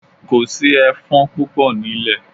Kò sí ẹfọ́n púpọ̀ nílẹ̀.